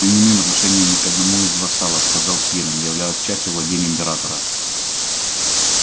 мы не имеем отношения ни к одному из вассалов сказал пиренн являясь частью владений императора